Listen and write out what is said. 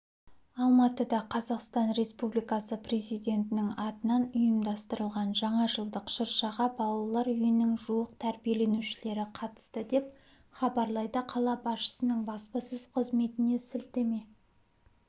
алматыда қазақстан республикасы президентінің атынан ұйымдастырылған жаңа жылдық шыршаға балалар үйінің жуық тәрбиеленушілері қатысты деп хабарлайды қала басшысының баспасөз-қызметіне сілтеме